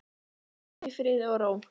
Hvíldu í friði og ró.